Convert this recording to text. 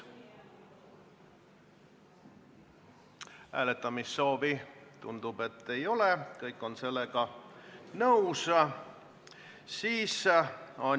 Hääletamissoovi ei ole, kõik on sellega nõus.